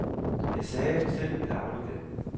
Jeg sagde, vi selv ville aflevere det.